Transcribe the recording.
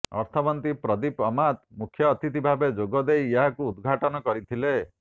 ଅର୍ଥମନ୍ତ୍ରୀ ପ୍ରଦୀପ ଅମାତ ମୁଖ୍ୟଅତିଥି ଭାବେ ଯୋଗଦେଇ ଏହାକୁ ଉଦଘାଟନ କରିଥିଲେ